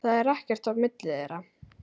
Það er ekkert á milli þeirra.